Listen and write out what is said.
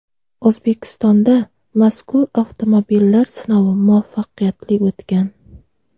O‘zbekistonda mazkur avtomobillar sinovi muvaffaqiyatli o‘tgan.